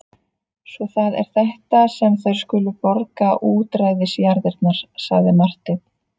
Svo það er þetta sem þær skulu borga útræðisjarðirnar, sagði Marteinn.